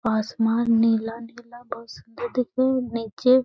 आसमान नीला-नीला बोहुत सुंदर दिखो नीचे --